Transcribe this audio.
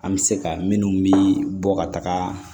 An bɛ se ka minnu mi bɔ ka taga